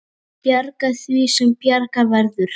Bjarga því sem bjarga verður.